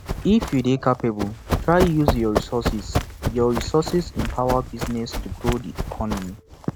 if you de capable try use your resources your resources empower businesses to grow di economy